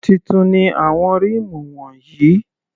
Titun ni àwọn ríìmù wọ̀nyí.